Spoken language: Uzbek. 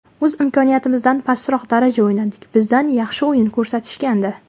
O‘z imkoniyatimizdan pastroq daraja o‘ynadik, bizdan yaxshi o‘yin kutishgandi.